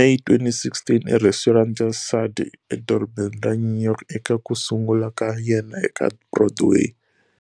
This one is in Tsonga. May 2016 eresturant ya Sardi eDorobeni ra New York eka ku sungula ka yena eka Broadway.